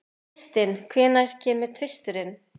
Kristin, hvenær kemur tvisturinn?